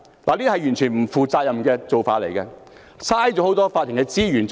"這是完全不負責任的做法，浪費法庭資源。